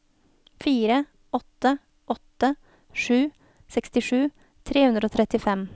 fire åtte åtte sju sekstisju tre hundre og trettifem